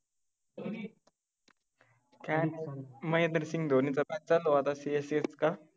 धोनी काय नाय महेंद्रसिंग धोनीच match चालू आहे आता CSK चा